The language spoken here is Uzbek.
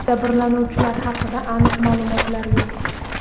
Jabrlanuvchilar haqida aniq ma’lumotlar yo‘q.